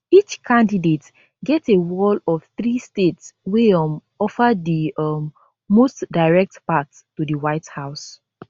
each candidate get a wall of three states wey um offer di um most direct path to di white house